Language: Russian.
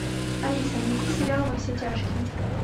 алиса найди сериал во все тяжкие